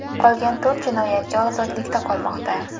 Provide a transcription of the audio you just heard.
Qolgan to‘rt jinoyatchi ozodlikda qolmoqda.